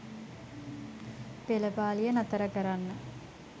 පෙළපාළිය නතර කරන්න